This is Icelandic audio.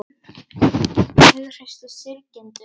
Þau hughreystu syrgjendur